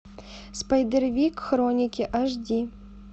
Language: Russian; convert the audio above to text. спайдервик хроники аш ди